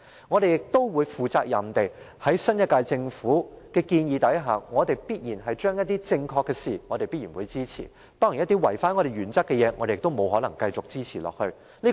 我們也會肩負責任，就新一屆政府所提建議，對於正確的事情，我們必然會支持。當然，一些違反原則的事，我們沒法繼續支持下去。